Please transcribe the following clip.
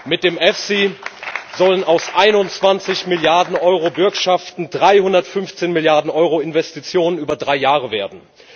Mit dem EFSI sollen aus 21 Milliarden EUR Bürgschaften 315 Milliarden EUR Investitionen über drei Jahre werden.